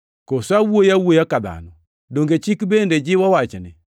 Koso awuoyo awuoya ka dhano? Donge Chik bende jiwo wachni?